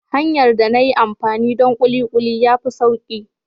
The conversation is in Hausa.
Hanyar da na yi amfani donkulikuli ya fi sauƙi.